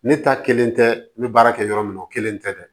Ne ta kelen tɛ n bɛ baara kɛ yɔrɔ min na o kelen tɛ dɛ